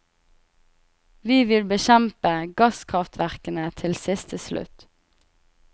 Vi vil bekjempe gasskraftverkene til siste slutt.